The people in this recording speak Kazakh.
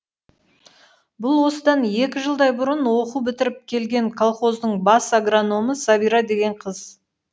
бұл осыдан екі жылдай бұрын оқу бітіріп келген колхоздың бас агрономы сәбира деген қыз